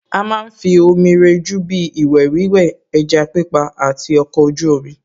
À má ń fi omi rẹjú bíi ìwẹ̀ wíwẹ̀, ẹja pípa àti ọkọ̀ ojú omi